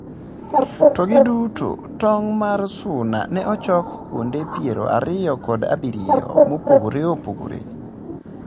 To gi duto, tong' mar suna ne ochok kuonde piero ariyo kod abirio mopogore opogore.